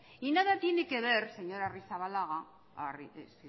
y nada tiene que ver señor agirrezabala